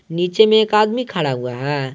नीचे में एक आदमी खड़ा हुआ है।